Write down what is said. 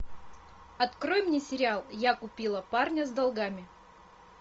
открой мне сериал я купила парня с долгами